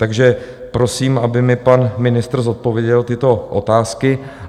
Takže prosím, aby mi pan ministr zodpověděl tyto otázky.